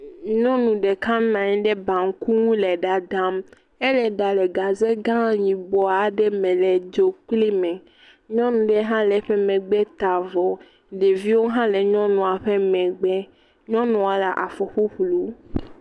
Nyɔnu ɖeka nɔ anyi ɖe baŋku ŋu le ɖaɖam. Elee ɖam le gaze gã yibɔ aɖe me le dzokplime. Nyɔnu ɖe hã le eƒe megbe ta vɔ. Ɖeviwo hã le nyɔnua ƒe megbe. Nyɔnua le afɔ ƒuƒlu.